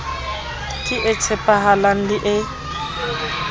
ke e tshepahalang le e